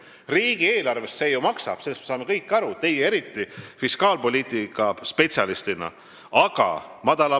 Riigieelarvele see ju maksab, sellest me saame kõik aru, teie fiskaalpoliitika spetsialistina eriti.